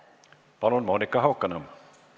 Palun, Monika Haukanõmm!